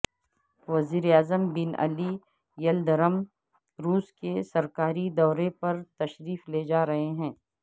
وزیر اعظم Binali Yildirim روس کے سرکاری دورے پر تشریف لے جا رہے ہیں